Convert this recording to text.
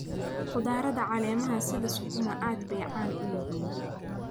Khudradda caleemaha sida sukuuma aad bay caan u yihiin.